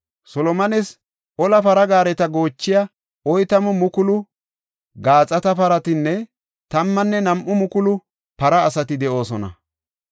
Solomones ola para gaareta goochiya oytamu mukulu gaaxata paratinne tammanne nam7u mukulu para asati de7oosona.